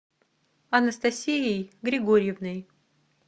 анастасией григорьевной